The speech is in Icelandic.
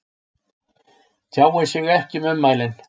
Tjáir sig ekki um ummælin